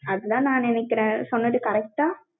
அதுதான் நான் நினைக்கிறேன். சொன்னது correct ஆ